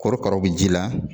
Korokaraw bɛ ji la